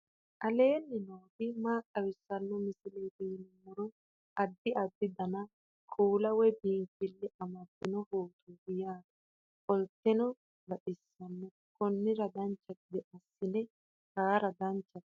aleenni nooti maa xawisanno misileeti yinummoro addi addi dananna kuula woy biinsille amaddino footooti yaate qoltenno baxissannote konnira dancha gede assine haara danchate